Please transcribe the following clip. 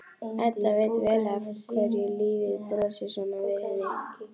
Edda veit vel af hverju lífið brosir svona við henni.